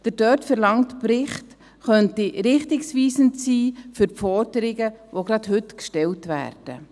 Der dort verlangte Bericht könnte richtungsweisend sein für die Forderungen, die gerade heute gestellt werden.